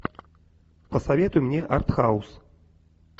посоветуй мне арт хаус